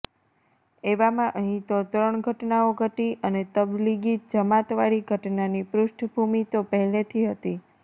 એવામાં અહીં તો ત્રણ ઘટનાઓ ઘટી અને તબલીગી જમાતવાળી ઘટનાની પૃષ્ઠભૂમિ તો પહેલેથી હતી